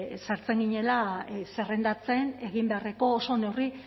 sartzen ginela zerrendatzen egin beharreko oso neurri